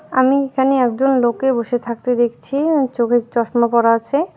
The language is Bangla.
আমি এখানে একজন লোককে বসে থাকতে দেখছি আর চোখে চশমা পরা আছে.